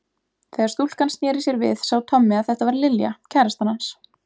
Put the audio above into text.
Þegar stúlkan snéri sér við sá Tommi að þetta var Lilja, kærastan hans